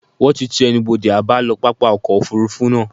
Wón ti ti ẹnubodè àbálọ pápá ọkọ̀ Òfurufú náà.